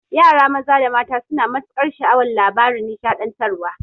Yara maza da mata suna matukar sha'awan labaran nishaɗantarwa